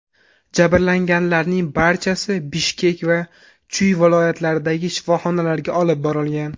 Jabrlanganlarning barchasi Bishkek va Chuy viloyatlaridagi shifoxonalarga olib borilgan.